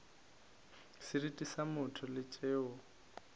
seriti sa motho le tšeo